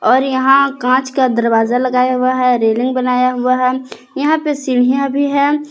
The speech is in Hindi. और यहां कांच का दरवाजा लगाया हुआ है रेलिंग बनाया हुआ है यहां पर सीढ़ियां भी हैं।